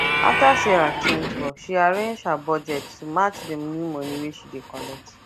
after sarah change work she rearrange her budget to match the new money wey she dey collect